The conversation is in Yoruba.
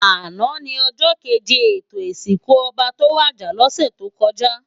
Àná ni òjò kéjé étó isinkú òbá tó wàjá lòsè tókòjá